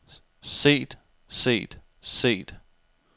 set set set